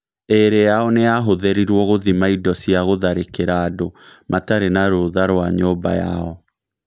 ĩĩrĩ yao nĩ yahũthĩrirũo gũthima indo cia gũtharĩkĩra andũ matarĩ na rũtha rwa nyũmba yao.